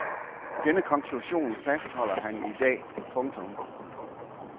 Denne konklusion fastholder han i dag. punktum